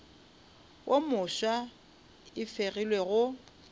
wo mofsa e fegilwe go